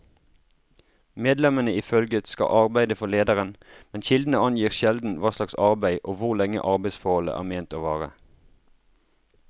Medlemmene i følget skal arbeide for lederen, men kildene angir sjelden hva slags arbeid og hvor lenge arbeidsforholdet er ment å vare.